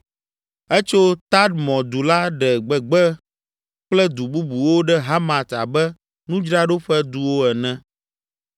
Etso Tadmɔ du la ɖe gbegbe kple du bubuwo ɖe Hamat abe nudzraɖoƒe duwo ene.